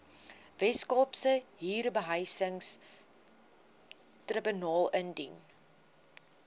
weskaapse huurbehuisingstribunaal indien